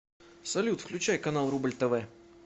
салют включай канал рубль тв